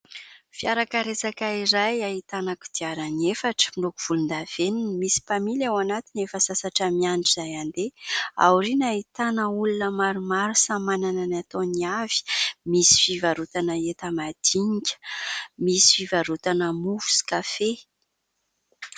Fiarakaretsaka iray ahitana kodiarana efatra, miloko volondavenona. Misy mpamily ao anatiny efa sasatra miandry izay handeha. Aoriana ahitana olona maromaro samy manana ny ataony avy. Misy fivarotana entana madinika, misy fivarotana mofo sy kafe.